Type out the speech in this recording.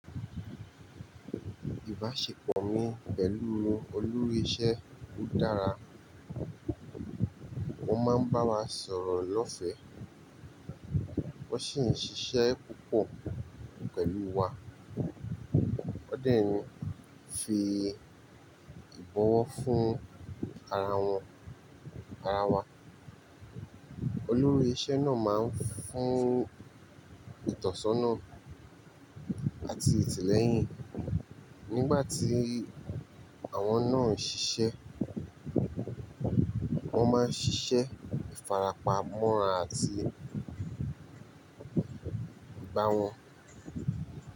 Ìbáṣepọ̀ mi pẹ̀lú olórí iṣẹ́ o dára. Wọ́n máa ń bá wa sọ̀rọ̀ lọ́fẹ̀, wọ́n sì ń ṣiṣẹ́ púpọ̀ pẹ̀lú wa. Wọ́n dẹ́ ń fi ìbọwọ́ fún ara wọn, ara wa. Olórí iṣẹ́ náà máa ń fún ìtọ́sọ́nà àti ìtìlẹ́yìn nígbà tí àwọn náà ń ṣiṣẹ́. Wọ́n máa ń ṣiṣẹ́ ìfarapa mọ́ran àti ìbá wọn.